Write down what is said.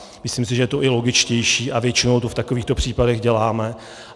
Myslím si, že je to i logičtější, a většinou to v takovýchto případech děláme.